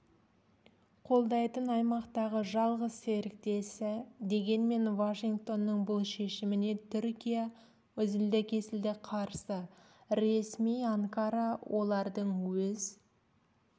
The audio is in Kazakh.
қолдайтын аймақтағы жалғыз серіктесі дегенмен вашингтонның бұл шешіміне түркия үзілді-кесілді қарсы ресми анкара олардың өз